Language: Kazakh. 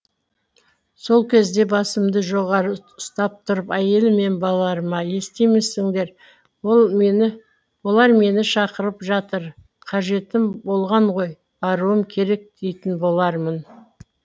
сол кезде басымды жоғары ұстап тұрып әйелім мен балаларыма естимісіңдер олар мені шақырып жатыр қажетім болған ғой баруым керек дейтін болармын